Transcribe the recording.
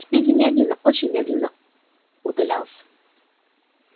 спиди медленно очень медленно удалялся